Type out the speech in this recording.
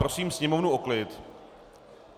Prosím sněmovnu o klid.